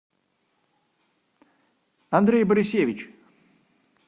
андрей борисевич